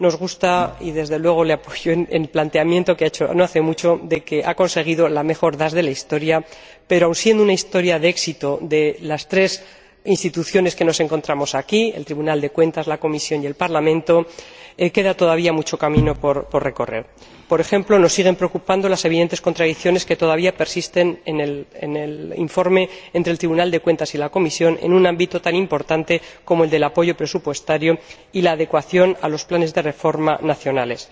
Apoyo la declaración que ha hecho no hace mucho de que ha conseguido la mejor DAS de la historia, pero, aun siendo una historia de éxito de las tres Instituciones que estamos aquí, el Tribunal de Cuentas, la Comisión y el Parlamento, queda todavía mucho camino por recorrer. Por ejemplo, nos siguen preocupando las evidentes contradicciones que persisten en el informe, entre el Tribunal de Cuentas y la Comisión, en un ámbito tan importante como el del apoyo presupuestario y la adecuación a los planes de reforma nacionales.